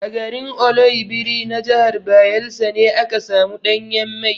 A garin Oloibiri na jahar Bayelsa ne aka samu ɗanyen mai.